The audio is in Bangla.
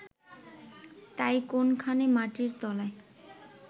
তাই কোনখানে মাটির তলায়